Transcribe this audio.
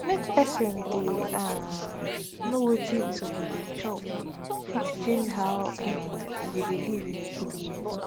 make person dey um know wetin e suppose dey chop fit change how um e go dey live in a good way